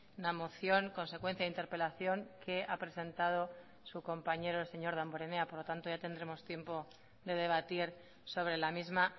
una moción consecuencia de interpelación que ha presentado su compañero el señor damborenea por lo tanto ya tendremos tiempo de debatir sobre la misma